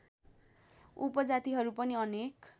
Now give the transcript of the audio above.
उपजातिहरू पनि अनेक